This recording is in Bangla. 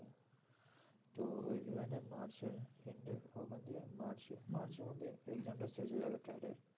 তো ওই ভেবে নে মার্চ এর end ওখান দিয়ে মার্চ মার্চের মধ্যেই exam টা শেষ হয়ে যাবে CAT এর